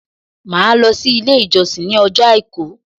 Màá lo sí Ilé ìjọsìn ní ọjọ́ Àìkú